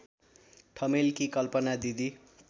ठमेलकी कल्पना दिदी